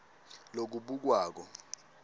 lokubukwako